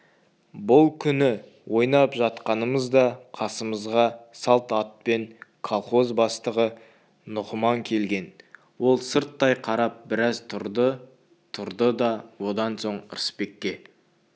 бұл күні ойнап жатқанымызда қасымызға салт атпен колхоз бастығы нұғыман келген ол сырттай қарап біраз тұрды-тұрды да одан соң ырысбекке